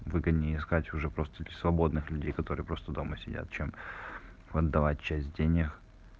выгоднее сказать уже просто ли свободных людей которые просто дома сидят чем отдавать часть денег